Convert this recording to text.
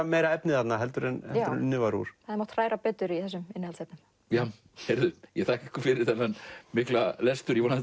meira efni þarna heldur en unnið var úr hefði mátt hræra betur í innihaldsefnunum ég þakka ykkur fyrir þennan mikla lestur ég vona